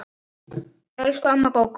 Elsku amma Gógó.